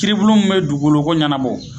kiiribulon min be dugugoloko ɲanabɔ